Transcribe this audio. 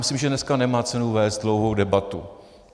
Myslím, že dneska nemá cenu vést dlouhou debatu.